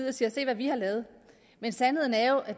og siger se hvad vi har lavet men sandheden er jo at